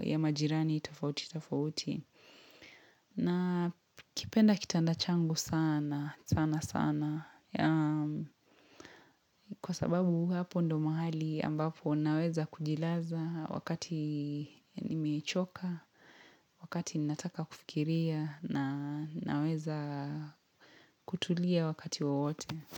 ya majirani tofauti tofauti. Nakipenda kitanda changu sana, sana sana. Kwa sababu hapo ndio mahali ambapo naweza kujilaza wakati nimechoka, wakati ninataka kufikiria na naweza kutulia wakati wowote.